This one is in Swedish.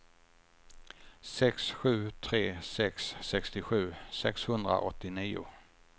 sex sju tre sex sextiosju sexhundraåttionio